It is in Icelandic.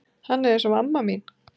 Hann er eins og amma mín.